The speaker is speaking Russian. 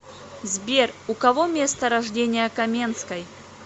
сбер у кого место рождения каменской